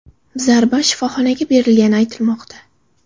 Zarba shifoxonaga berilgani aytilmoqda.